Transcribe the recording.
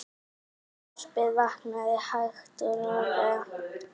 Þorpið vaknar hægt og rólega.